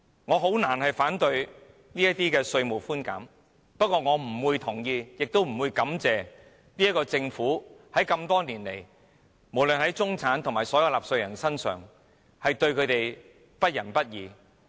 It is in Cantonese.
我難以反對這些稅務寬減措施，但我不會同意，也不會感謝政府，因為政府多年來對中產和所有納稅人都是不仁不義。